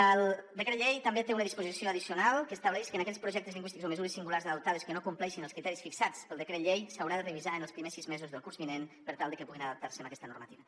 el decret llei també té una disposició addicional que estableix que en aquells projectes lingüístics o mesures singulars adoptades que no compleixin els criteris fixats pel decret llei s’haurà de revisar en els primers sis mesos del curs vinent per tal que puguin adaptar se a aquesta normativa